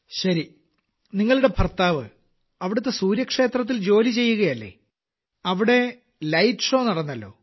ശരി നിങ്ങളുടെ ഭർത്താവ് അവിടത്തെ സൂര്യക്ഷേത്രത്തിൽ ജോലി ചെയ്യുകയല്ലേ അവിടെ ലൈറ്റ് ഷോ നടന്നല്ലോ